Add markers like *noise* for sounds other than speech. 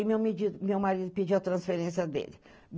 Aí meu *unintelligible* meu marido pediu a transferência dele.